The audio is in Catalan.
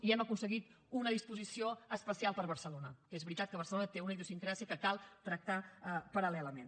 i hem aconseguit una disposició especial per a barcelona que és veritat que barcelona té una idiosincràsia que cal tractar paral·lelament